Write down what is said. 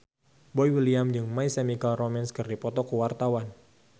Boy William jeung My Chemical Romance keur dipoto ku wartawan